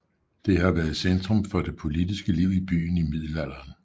Det har været centrum for det politiske liv i byen i middelalderen